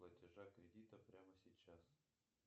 платежа кредита прямо сейчас